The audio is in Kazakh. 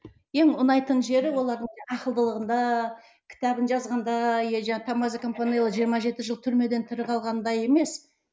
ең ұнайтын жері олардың ақылдылығында кітабын жазғанында иә томмазо кампанелла жиырма жеті жыл түрмеден тірі қалғанында емес